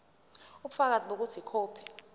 ubufakazi bokuthi ikhophi